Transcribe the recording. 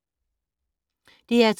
DR2